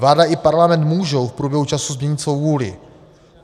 Vláda i Parlament můžou v průběhu času změnit svou vůli.